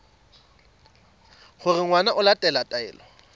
gore ngwana o latela taelo